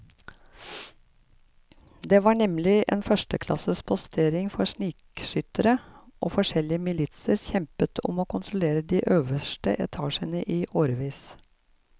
Det var nemlig en førsteklasses postering for snikskyttere, og forskjellige militser kjempet om å kontrollere de øverste etasjene i årevis.